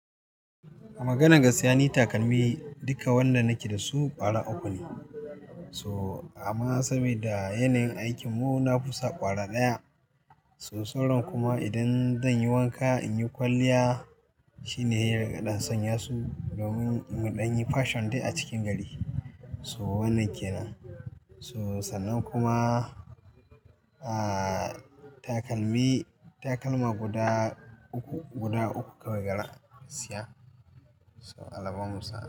A maganan gaskiya ni takalmi duka wanda nake da su ƙwara uku ne. So amma saboda yanayin aikin mu na fusa ƙwara ɗaya. So sauran kuma idan zan yi wanka in yi kwalliya shine sai in riƙa ɗan sanya su domin muɗan yi fashion dai a cikin gari. So wannan ke nan. So sannan kuma, ahhh takalmi, takalma guda uku, guda uku kawai garan gaskiya. So Allah bamu sa, a.